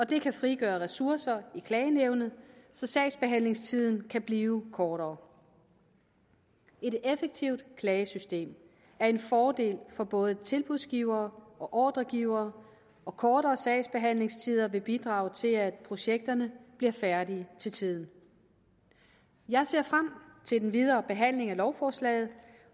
det kan frigøre ressourcer i klagenævnet så sagsbehandlingstiden kan blive kortere et effektivt klagesystem er en fordel for både tilbudsgivere og ordregivere og kortere sagsbehandlingstider vil bidrage til at projekterne bliver færdige til tiden jeg ser frem til den videre behandling af lovforslaget